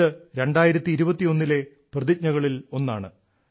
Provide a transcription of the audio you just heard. ഇത് 2021 ലെ പ്രതിജ്ഞകളിൽ ഒന്നാണ്